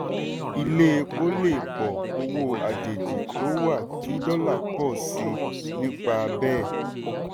ilé epo lè pọ̀ owó àjèjì tó wà kí dọ́là pọ̀ sí i nípa bẹ́ẹ̀.